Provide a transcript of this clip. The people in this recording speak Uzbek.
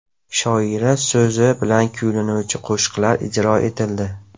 Shoira so‘zi bilan kuylanuvchi qo‘shiqlar ijro etildi.